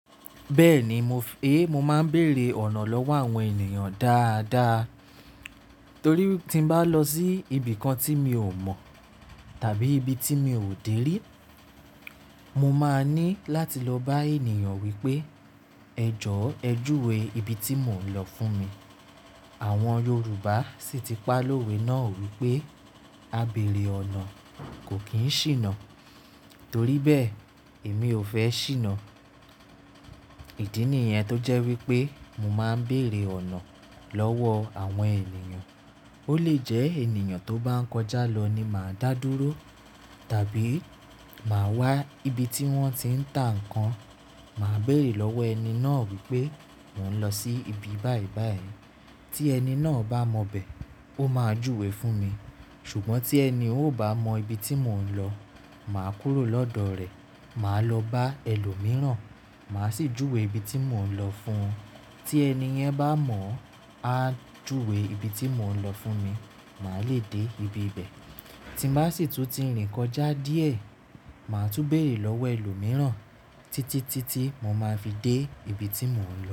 Bẹ́ẹ̀ni, mo f-- é mo máa ń bèrè ọ̀nà lọ́wọ́ àwọn ènìyàn dáadáa. Torí tí bá lọ sí ibìkan tí mi ò mọ̀ tàbí ibi tí mi ò dé rí, mo máa ní láti lọ bá ènìyàn wípé "ẹ jọ́ ẹ júwe ibi tí mò ń lọ fún mi." Àwọn Yorùbá sì ti pá lówe náà wípé "ábèrè ọ̀nà kò kì í ṣìnà" torí bẹ́ẹ̀ èmi ò fẹ́ ṣìnà. Ìdí nìyẹn tó jẹ́ wípé mo máa ń bèrè ọ̀nà lọ́wọ́ àwọn ènìyàn. Ó lè jẹ́ ènìyàn tó bá ń kọjá lọ ni màá dá dúró tàbí màá wá ibi tí wón ti ń tà ǹkan, màá bèrè lọ́wọ́ ẹni náà wípé mò ń lọ sí ibi báyìí báyìí. Tí ẹni náà bá mọ bẹ̀, ó máa júwe fún mi. Ṣùgbọ́n tí ẹni òun o ba mọ ibi tí mò ń lọ, màá kúrò lọ́dọ̀ rẹ̀, màá lọ bá ẹlòmíràn, màá sì júwe ibi tí mò ń lọ fún un. Tí ẹni yẹn bá mọ̀, á júwe ibi tí mò ń lọ fún mi, màá le dé ibi ibẹ̀. Tí bá sì tún ti rìn kọjá díẹ̀, màá tún bèrè lọ́wọ́ ẹlòmíràn títí títí mo máa fi dé ibi tí mò ń lọ.